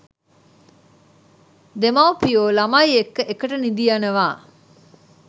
දෙමව්පියෝ ළමයි එක්ක එකට නිදියනවා.